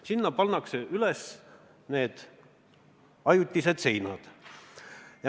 Sinna pannakse üles ajutised seinad.